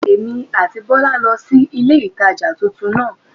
Èmí àti Bólá lo sí ilé ìtajà titun náà